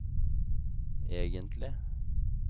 egentlig